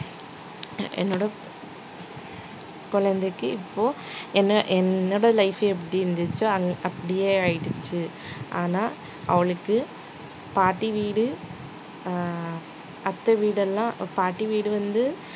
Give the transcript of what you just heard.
குழந்தைக்கு இப்போ என்ன என்னோட life ஏ எப்படி இருந்துச்சோ அப்~ அப்படியே ஆயிடுச்சு ஆனா அவளுக்கு பாட்டி வீடு ஆஹ் அத்தை வீடெல்லாம் பாட்டி வீடு வந்து